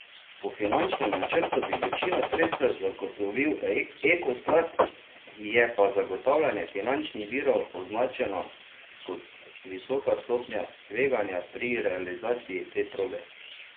Po finančnem načrtu bi večino sredstev zagotovil Ekosklad, je pa zagotavljanje finančnih virov označeno kot visoka stopnja tveganja pri realizaciji te proge.